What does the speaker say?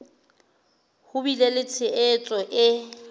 ho bile le tshehetso e